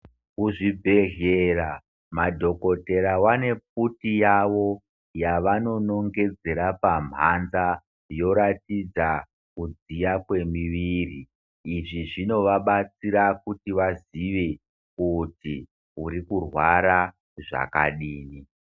Muzvibhehlera madhokodheya wane pfuti yavo yavonongedzera pamhanza yoratidza kudziya kwemiviri izvi zvinovarabatsira kuti vazive kuti urikurwara zvakadini.